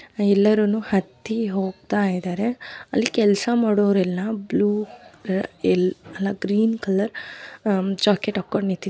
ಎಲ್ಲರೂನು ಹತ್ತಿ ಹೋಗ್ತಾ ಇದ್ದಾರೆ. ಅಲ್ಲಿ ಕೆಲಸ ಮಾಡೋರೆಲ್ಲ ಬ್ಲೂ ಎಲ್ ಅಲ್ಲಾ ಗ್ರೀನ್ ಕಲರ್ ಜಾಕೆಟ್ ಹಾಕೊಂಡು ನಿಂತಿದ್ದಾರೆ.